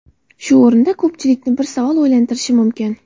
Shu o‘rinda ko‘pchilikni bir savol o‘ylantirishi mumkin.